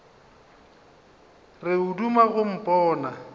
re o duma go mpona